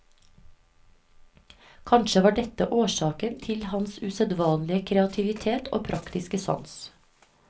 Kanskje var dette årsaken til hans usedvanlige kreativitet og praktiske sans.